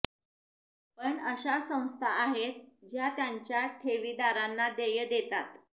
पण अशा संस्था आहेत ज्या त्यांच्या ठेवीदारांना देय देतात